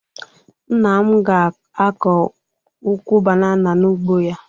Nna m ga-akọ ukwu banana n'ugbo ya